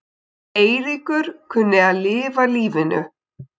Eiríkur kunni að lifa lífinu.